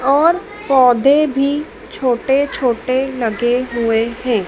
और पौधे भी छोटे छोटे लगे हुए है।